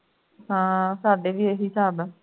ਹਾਂ ਸਾਡੇ ਵੀ ਇਹੀ ਹਿਸਾਬ ਹੈ